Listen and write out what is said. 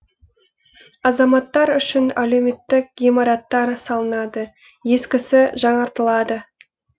азаматтар үшін әлеуметтік ғимараттар салынады ескісі жаңаратылады